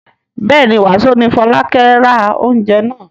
Bẹ́ẹ̀ ni, wàsó ni Fọlákẹ́ ra oúnjẹ náà.